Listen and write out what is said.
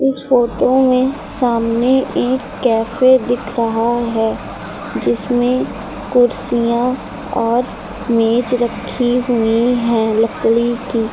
इस फोटो में सामने एक कैफे दिख रहा है जिसमें कुर्सियां और मेज रखी हुई हैं लकड़ी की।